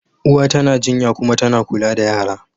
Uwa tana jinya kuma tana kula da yara.